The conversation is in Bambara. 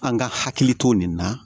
An ka hakili to nin na